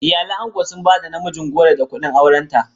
Iyalan angon sun ba da namijin goro da kuɗin aurenta.